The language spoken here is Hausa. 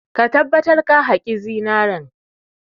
Ka tabbatar ka haƙi zinare!